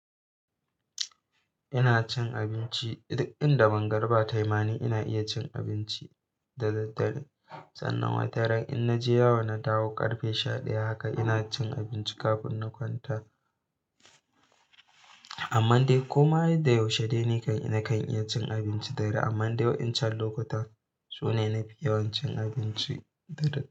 Ina cin abinci duk inda man bga riba tayi ma ni. Ina iya cin abinci da daddare, sannan wataran. In naje yawo na dawo ƙarfe sha ɗaya haka, ina cin abinci kafin na kwanta. Amman dai koma da yaushe dai nikan nakan kan iya cin abincin dare. Amman dai wa, incan lokutan sune nafi yawan cin abinci.